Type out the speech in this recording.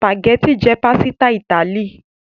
Spaghetti jẹ pasita Itali.